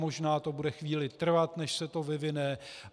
Možná to bude chvíli trvat, než se to vyvine.